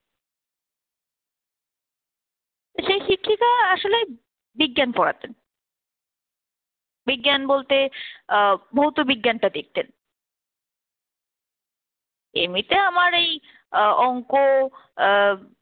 সে শিক্ষিকা আসলে বিজ্ঞান পড়াতেন, বিজ্ঞান বলতে আহ ভৌতবিজ্ঞান টা দেখছেন। এমনিতে আমার এই আহ অংক আহ